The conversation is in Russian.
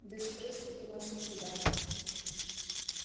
без крыс тут у нас никуда